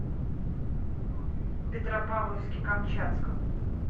петропавловске камчатском